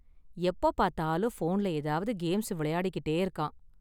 எப்போ பார்த்தாலும் போன்ல ஏதாவது கேம்ஸ் விளையாடிக்கிட்டே இருக்கான்.